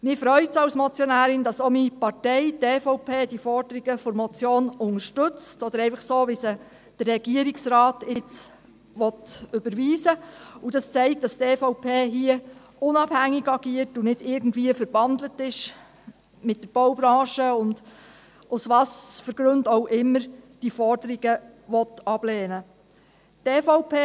Mich freut es als Motionärin, dass auch meine Partei, die EVP, die Forderungen der Motion so, wie sie der Regierungsrat überweisen will, unterstützt, und dies zeigt, dass die EVP hier unabhängig agiert und nicht irgendwie mit der Baubranche verbandelt ist und, aus welchen Gründen auch immer, diese Forderungen ablehnen will.